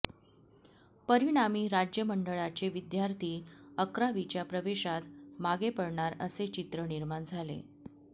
परिणामी राज्य मंडळाचे विद्यार्थी अकरावीच्या प्रवेशांत मागे पडणार असे चित्र निर्माण झाले